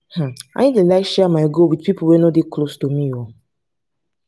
um i no dey like share my goal wit pipo wey no dey close to me ooo.